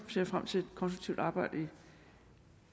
frem til et konstruktivt arbejde i